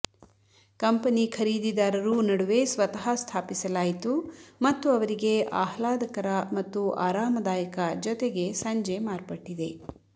company ಖರೀದಿದಾರರು ನಡುವೆ ಸ್ವತಃ ಸ್ಥಾಪಿಸಲಾಯಿತು ಮತ್ತು ಅವರಿಗೆ ಆಹ್ಲಾದಕರ ಮತ್ತು ಆರಾಮದಾಯಕ ಜೊತೆಗೆ ಸಂಜೆ ಮಾರ್ಪಟ್ಟಿದೆ